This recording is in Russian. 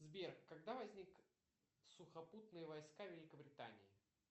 сбер когда возник сухопутные войска великобритании